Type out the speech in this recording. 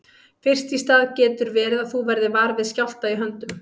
Fyrst í stað getur verið að þú verðir var við skjálfta í höndum.